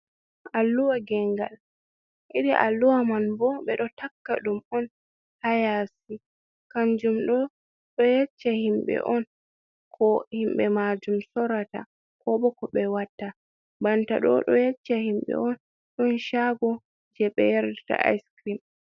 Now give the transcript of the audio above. Alluha gengal. Irin alluha man bo ɓe ɗo takka ɗum on haa yaasi. Kanjum ɗo ɗo yecca himɓe on ko himɓe majum sorata, ko bo ko ɓe watta. Banta ɗo, ɗo yecca himɓe on ɗon shaago je ɓe yarirta aiskrim.